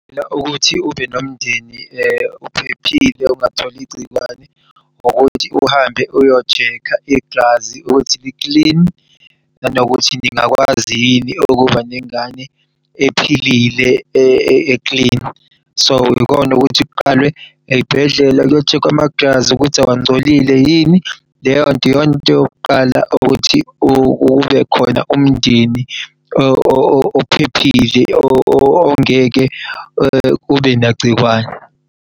Kulula ukuthi ube nomndeni ophephile ongatholi igciwane ukuthi uhambe uyo-check-a igazi ukuthi li-clean nanokuthi ningakwazi yini ukuba nengane ephilile e-clean. So ikona ukuthi kuqalwe ey'bhedlela kuyo-check-khwa'magazi ukuthi awangcolile yini. Leyonto iyona into yokuqala ukuthi ube khona umndeni ophephile ongeke ube nagciwane.